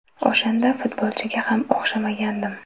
O‘shanda futbolchiga ham o‘xshamagandim.